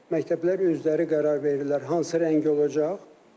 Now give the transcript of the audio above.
Məktəblər özləri qərar verirlər hansı rəng olacaq.